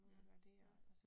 Ja. Ja